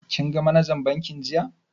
Kin ga manajan bankin jiya?